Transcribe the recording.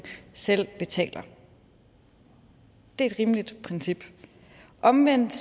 selv betaler det er et rimeligt princip omvendt